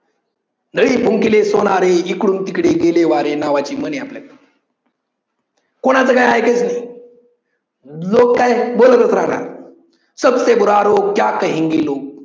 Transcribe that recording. नळी फुंकिले सोनारे इकडून तिकडे गेले वारे नावाची म्हण आहे आपल्याकडे. कोणाचं काही ऐकायचं नाही लोक काय बोलतच राहणार